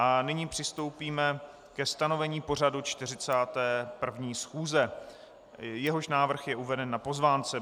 A nyní přistoupíme ke stanovení pořadu 41. schůze, jehož návrh je uveden na pozvánce.